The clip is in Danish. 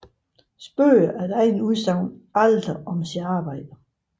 Spøger efter eget udsagn aldrig om sit arbejde